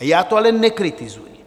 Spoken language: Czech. A já to ale nekritizuji.